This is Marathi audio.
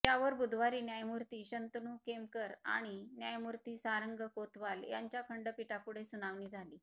यावर बुधवारी न्यायमूर्ती शंतनू केमकर आणि न्यायमूर्ती सारंग कोतवाल यांच्या खंडपीठापुढे सुनावणी झाली